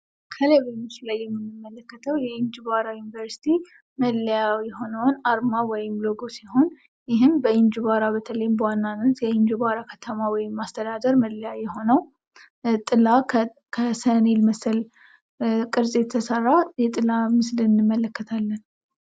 ምስሉ ላይ የምንመለከተው የእንጅባራ ዩንቨርስቲ አርማ ነው ።ይህም በእንጅባራ በዋነኛነት በእንጅባራ ከተማ መለያ የሆነው ከሰሌን የተሰራ ጥላ እናያለን።